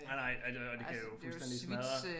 Nej nej og det og det kan jo fuldstændig smadre